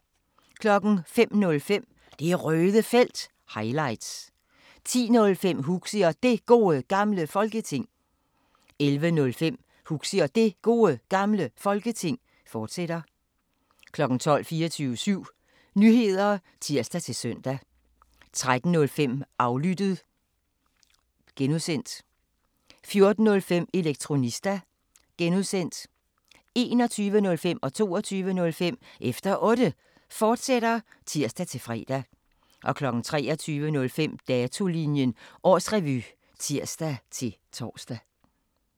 05:05: Det Røde Felt – highlights 10:05: Huxi og Det Gode Gamle Folketing 11:05: Huxi og Det Gode Gamle Folketing, fortsat 12:00: 24syv Nyheder (tir-søn) 13:05: Aflyttet (G) 14:05: Elektronista (G) 21:05: Efter Otte, fortsat (tir-fre) 22:05: Efter Otte, fortsat (tir-fre) 23:05: Datolinjen Årsrevy (tir-tor)